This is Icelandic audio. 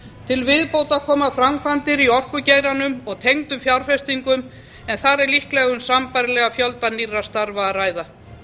til viðbótar koma framkvæmdir í orkugeiranum og tengdum fjárfestingum en þar er líklega um sambærilegan fjölda nýrra starfa að ræða